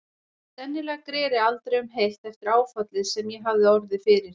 Sennilega greri aldrei um heilt eftir áfallið sem ég hafði orðið fyrir.